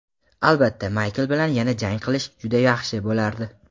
Albatta Mayk bilan yana jang qilish juda yaxshi bo‘lardi.